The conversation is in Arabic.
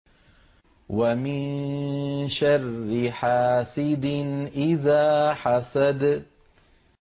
وَمِن شَرِّ حَاسِدٍ إِذَا حَسَدَ